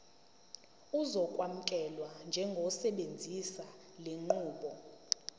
uzokwamukelwa njengosebenzisa lenqubo